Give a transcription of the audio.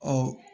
Ɔ